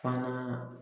Fana